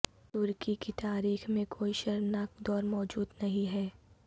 ترکی کی تاریخ میں کوئی شرمناک دور موجود نہیں ہے